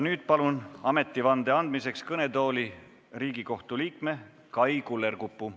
Nüüd palun ametivande andmiseks kõnetooli Riigikohtu liikme Kai Kullerkupu.